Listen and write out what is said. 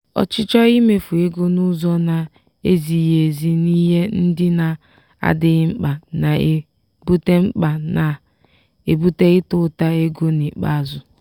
ọchịchọ imefu ego n'ụzọ na-ezighi ezi n'ihe ndị na-adịghi mkpa na-ebute mkpa na-ebute ịta ụta ego n'ikpeazụ.